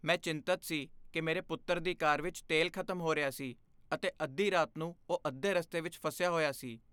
ਮੈਂ ਚਿੰਤਤ ਸੀ ਕਿ ਮੇਰੇ ਪੁੱਤਰ ਦੀ ਕਾਰ ਵਿੱਚ ਤੇਲ ਖ਼ਤਮ ਹੋ ਰਿਹਾ ਸੀ ਅਤੇ ਅੱਧੀ ਰਾਤ ਨੂੰ ਉਹ ਅੱਧੇ ਰਸਤੇ ਵਿੱਚ ਫਸਿਆ ਹੋਇਆ ਸੀ।